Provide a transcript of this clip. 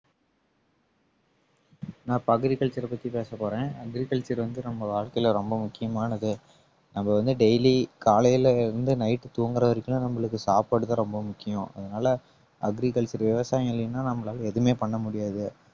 நான் இப்ப agriculture அ பத்தி பேச போறேன் agriculture வந்து நம்ம வாழ்க்கையில ரொம்ப முக்கியமானது நம்ம வந்து daily காலையில இருந்து night தூங்குற வரைக்கும் நம்மளுக்கு சாப்பாடுதான் ரொம்ப முக்கியம் அதனால agriculture விவசாயம் இல்லைன்னா நம்மளால எதுவுமே பண்ண முடியாது